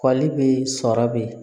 Kɔlili bɛ yen sɔrɔ bɛ yen